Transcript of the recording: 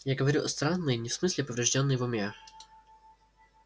я говорю странный не в смысле повреждённый в уме